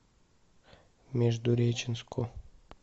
междуреченску